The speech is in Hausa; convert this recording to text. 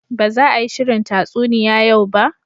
Ba za a yi shirin tatsuniya yau ba